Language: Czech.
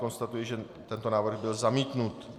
Konstatuji, že tento návrh byl zamítnut.